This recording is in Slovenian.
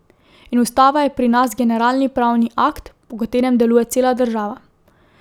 In ustava je pri nas generalni pravni akt, po katerem deluje cela država.